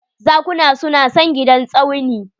Zakuna su na son gidan Tsauni